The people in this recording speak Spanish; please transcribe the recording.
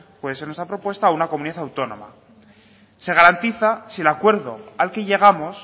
puede ser nuestra propuesta o una comunidad autónoma se garantiza si el acuerdo al que llegamos